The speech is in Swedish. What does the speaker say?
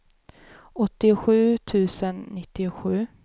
åttiosju tusen nittiosju